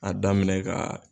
A daminɛ ka